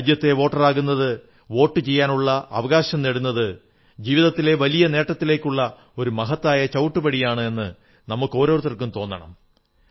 രാജ്യത്തെ വോട്ടറാകുന്നത് വോട്ടു ചെയ്യാനുള്ള അവകാശം നേടുന്നത് ജീവിതത്തിലെ വലിയ നേട്ടങ്ങളിലേക്കുള്ള ഒരു മഹത്തായ ചവിട്ടുപടിയാണ് എന്ന് നമുക്കോരോരുത്തർക്കും തോന്നണം